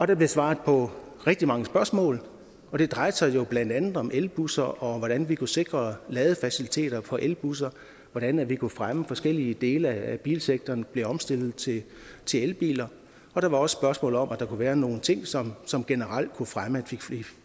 der blev svaret på rigtig mange spørgsmål og det drejede sig jo blandt andet om elbusser om hvordan vi kunne sikre ladefaciliteter for elbusser hvordan vi kunne fremme at forskellige dele af bilsektoren blev omstillet til elbiler der var også spørgsmål om at der kunne være nogle ting som som generelt kunne fremme at